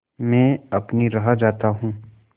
मैं अपनी राह जाता हूँ